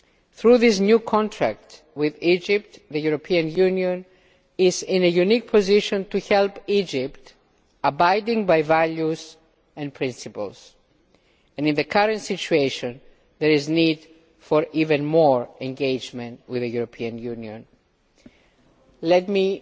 Through this new contract with Egypt the European Union is in a unique position to help Egypt abide by values and principles, and in the current situation there is need for even more engagement with the European Union. Let